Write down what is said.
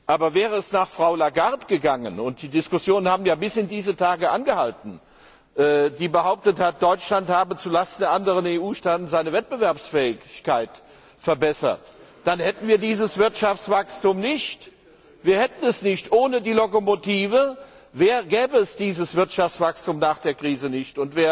Aber wäre es nach Frau Lagarde gegangen und die Diskussionen haben ja bis in diese Tage angehalten die behauptet hat, Deutschland habe zulasten der anderen EU Staaten seine Wettbewerbsfähigkeit verbessert, dann hätten wir dieses Wirtschaftswachstum nicht! Ohne die Lokomotive gäbe es dieses Wirtschaftswachstum nach der Krise nicht.